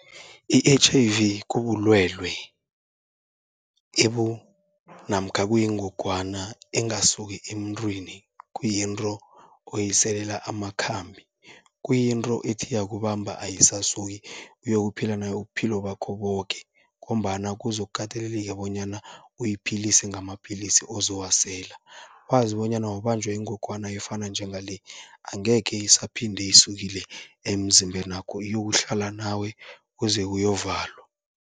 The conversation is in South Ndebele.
I-H_I_V kubulwelwe namkha kuyingogwana engasuki emntwini, kuyinto oyiselela amakhambi. Kuyinto ethi yakubamba ayisasuki uyokuphila nayo ubuphilo bakho boke, ngombana kuzokuteleleka bonyana uyiphilise ngamapilisi ozowasela. Wazi bonyana wabanjwa yingogwana efana njengale, angekhe isaphinde isukile emzimbenakho iyokuhlala nawe kuze kuyovalwa.